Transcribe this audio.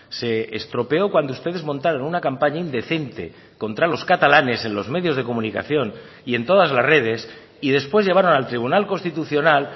se estropeó cuando ustedes montaron una campaña indecente contra los catalanes en los medios de comunicación y en todas las redes y después llevaron al tribunal constitucional